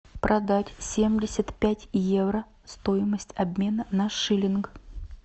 продать семьдесят пять евро стоимость обмена на шиллинг